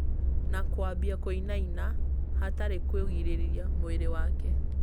na kwambia kũinaina hatarĩ kũgirĩrĩria mwĩrĩ wake